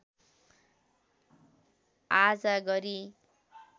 आजा गरी